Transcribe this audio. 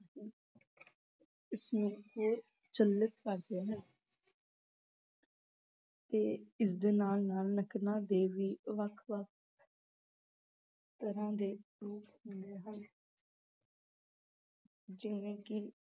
ਇਸਨੂੰ ਹੋਰ ਚਲਿਤ ਕਰਦੇ ਹਨ ਤੇ ਇਸਦੇ ਨਾਲ ਨਾਲ ਨਕਲਾਂ ਦੇ ਵੀ ਵੱਖ ਵੱਖ ਤਰ੍ਹਾਂ ਦੇ ਰੂਪ ਹੁੰਦੇ ਹਨ ਜਿਵੇਂ ਕਿ